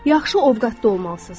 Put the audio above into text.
Yaxşı ovqatda olmalısınız.